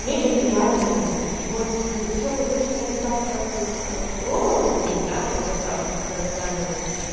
мега нереальные люди вот ещё курьерская доставка в этом в глобал у нас есть да вот доставка которая недавно вот